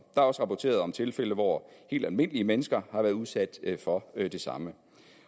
er også rapporteret om tilfælde hvor helt almindelige mennesker har været udsat for det samme